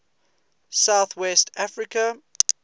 south west africa